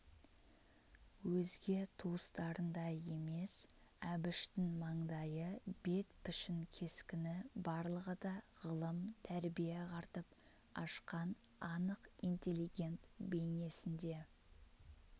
өзге туыстарындай емес әбіштің мандайы бет пішін кескіні барлығы да ғылым тәрбие ағартып ашқан анық интеллигент бейнесінде